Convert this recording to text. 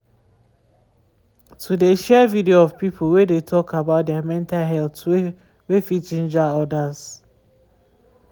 to de share video of people wey de talk about their mental health way fit ginger others.